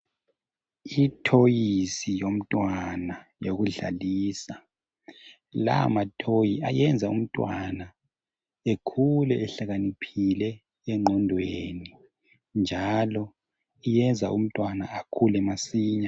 Ithoyisi yomntwana yokudlalisa lamathoyi ayenza umntwana ekhule ehlakaniphile engqondweni njalo iyenza umntwana ekhule masinya